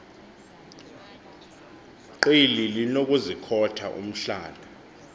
qili linokuzikhotha umhlana